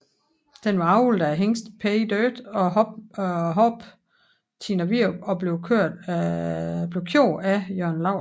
Den var avlet af hingsten Pay Dirt og hoppen Tina Virup og blev kørt af Jørn Laursen